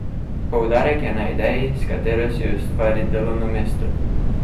Poudarek je na ideji, s katero si ustvari delovno mesto.